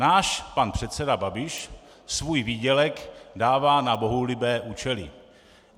Náš pan předseda Babiš svůj výdělek dává na bohulibé účely.